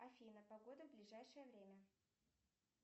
афина погода в ближайшее время